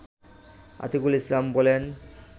আতিকুল ইসলাম বলেন